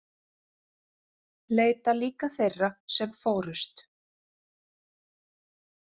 Leita líka þeirra sem fórust